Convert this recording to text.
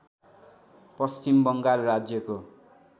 पश्चिम बङ्गाल राज्यको